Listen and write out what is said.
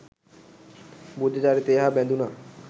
බුද්ධ චරිතය හා බැඳුණ